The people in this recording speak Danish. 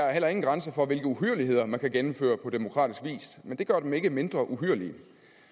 er heller ingen grænser for hvilke uhyrligheder man kan gennemføre på demokratisk vis men det gør dem ikke mindre uhyrlige